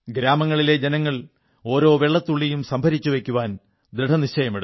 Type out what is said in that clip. ഗ്രാമങ്ങളിലെ ജനങ്ങൾ ഓരോ വെള്ളത്തുള്ളിയും സംഭരിച്ചുവെയ്ക്കാൻ ദൃഢനിശ്ചയമെടുത്തു